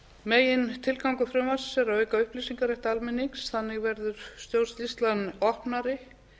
megintilgangur frumvarpsins er að auka upplýsingarétt almennings þannig verður stjórnsýslan opnari